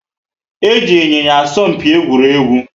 Eji Ịnyịnya asọ mpi egwuregwu